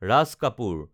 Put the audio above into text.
Raj Kapoor